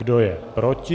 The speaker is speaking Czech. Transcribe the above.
Kdo je proti?